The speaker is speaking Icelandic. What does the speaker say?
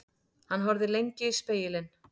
Hann horfði lengi í spegilinn.